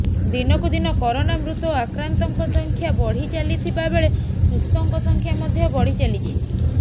ଦିନକୁ ଦିନ କରୋନା ମୃତ ଓ ଆକ୍ରାନ୍ତଙ୍କ ସଂଖ୍ୟା ବଢିଚାଲିଥିବାବେଳେ ସୁସ୍ଥଙ୍କ ସଂଖ୍ୟା ମଧ୍ୟ ବଢି ଚାଲିଛି